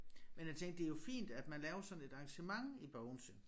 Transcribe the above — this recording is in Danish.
Men jeg tænker det jo fint at man laver sådan et arrangement i Bogense